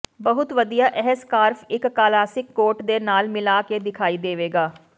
ਬਹੁਤ ਵਧੀਆ ਇਹ ਸਕਾਰਫ ਇੱਕ ਕਲਾਸਿਕ ਕੋਟ ਦੇ ਨਾਲ ਮਿਲਾ ਕੇ ਦਿਖਾਈ ਦੇਵੇਗਾ